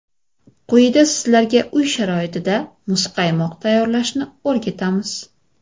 Quyida sizlarga uy sharoitida muzqaymoq tayyorlashni o‘rgatamiz.